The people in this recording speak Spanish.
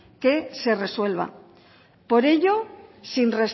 se resuelva por ello